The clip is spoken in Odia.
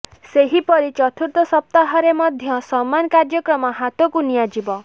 ସେହିପରି ଚତୁର୍ଥ ସପ୍ତାହରେ ମଧ୍ୟ ସମାନ କାର୍ଯ୍ୟକ୍ରମ ହାତକୁ ନିଆଯିବ